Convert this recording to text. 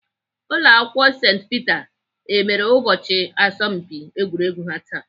Ụlọakwụkwọ St Peter emere ụbọchị asọmpi egwuregwu ha taa?